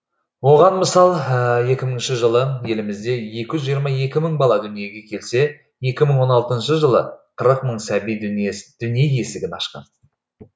оған мысал екі мыңыншы жылы елімізде екі жүз жиырма екі мың бала дүниеге келсе екі мың он алтыншы жылы қырық мың сәби дүние есігін ашқан